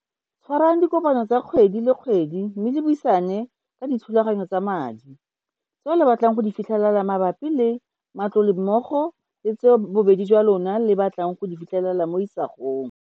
Tshwarang dikopano tsa kgwedi le kgwedi mme le buisane ka dithulaganyo tsa madi, tseo le batlang go di fitlhelela mabapi le matlole mmogo le tseo bobedi jwa lona le batlang go di fitlhelela mo isagong.